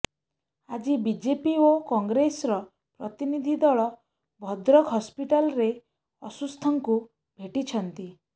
ଆଜି ବିଜେପି ଓ କଂଗ୍ରେସର ପ୍ରତିନିଧି ଦଳ ଭଦ୍ରକ ହସ୍ପିଟାଲରେ ଅସୁସ୍ଥଙ୍କୁ ଭେଟିଛନ୍ତି